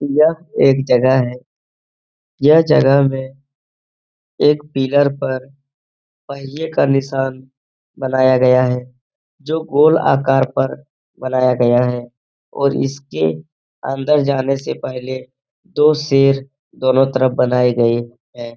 यह एक जगह है। यह जगह में एक पिलर पर पहिए का निशान बनाया गया है जो गोल आकार पर बनाया गया है और इसके अंदर जाने से पहले दो शेर दोनों तरफ बनाए गए हैं।